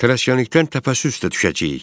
Tələskənlikdən təpəssüslə düşəcəyik.